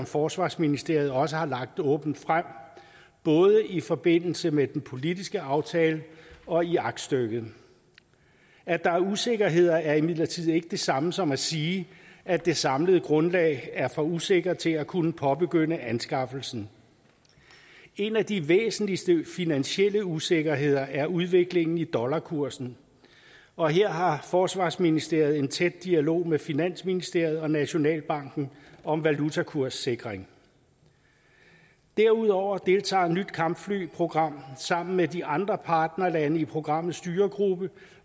forsvarsministeriet også lagt åbent frem både i forbindelse med den politiske aftale og i aktstykket at der er usikkerheder er imidlertid ikke det samme som at sige at det samlede grundlag er for usikkert til at kunne påbegynde anskaffelsen en af de væsentligste finansielle usikkerheder er udviklingen i dollarkursen og her har forsvarsministeriet en tæt dialog med finansministeriet og nationalbanken om valutakurssikring derudover deltager nyt kampfly programmet sammen med de andre partnerlande i programmets styregruppe